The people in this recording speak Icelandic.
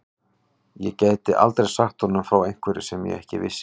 Ég gæti aldrei sagt honum frá einhverju sem ég ekki vissi.